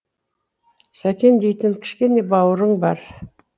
сәкен дейтін кішкене бауырың бар